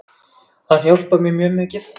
Hann hjálpar mér mjög mikið.